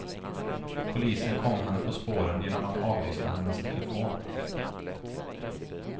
Polisen kom henne på spåren genom att avlyssna hennes telefon.